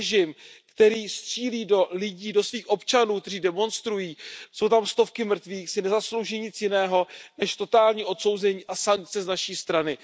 Režim, který střílí do lidí, do svých občanů, kteří demonstrují, jsou tam stovky mrtvých, si nezaslouží nic jiného než totální odsouzení a sankce z naší strany.